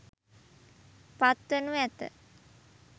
පත්වනු ඇත.